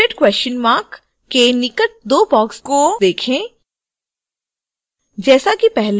100 question mark के निकट दो boxes को देखें